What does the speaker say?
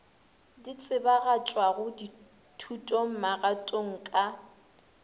di tsebagatšwago thutong magatong ka